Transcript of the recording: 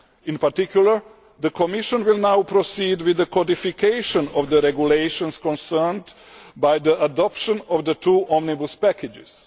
In particular, the Commission will now proceed with the codification of the regulations concerned by the adoption of the two Omnibus packages.